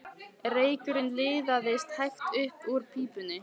Reykurinn liðaðist hægt upp úr pípunni.